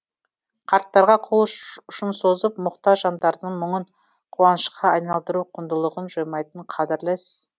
қарттарға қол ұшын созып мұқтаж жандардың мұңын қуанышқа айналдыру құндылығын жоймайтын қадірлі іс